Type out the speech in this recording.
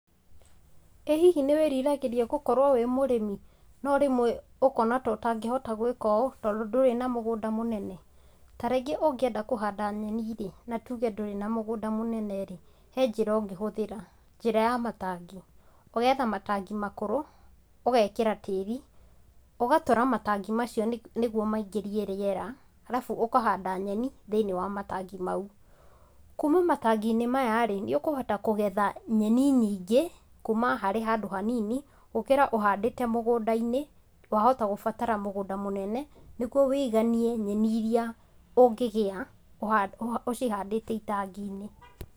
Ĩĩ hihi nĩwĩriragĩria gũkorwo wĩ mũrĩmi? Norĩmwe ũkona ta ũtangĩhota gwĩka ũũ tondũ ndũrĩ na mũgunda mũnene? Tarĩngĩ ũngĩenda kũhanda nyeni rĩ natuge ndũrĩ na mũgũnda mũnene rĩ he njĩra ũngĩhũthira, njĩra ya matangi, ũgetha matagi makũrũ, ũgekĩra tĩri ,ũgatũra matangi maacio nĩguo mengĩrie rĩera, harabu ũkahanda nyeni thĩinĩ wa matangi mau. Kuuma matanginĩ maya rĩ nĩũkũhota kũgetha nyeni nyingĩ kuuma harĩ handũ hanini gũkĩra ũhandĩte mũgũndainĩ wahota kũbatara mũgũnda mũnene nĩgúuo wĩganie nyeni irĩa ũngigĩa ũcihandĩte itanginĩ.